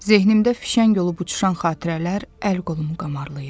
Zehnimdə fişəng olub uçuşan xatirələr əl-qolum qamarlayıb.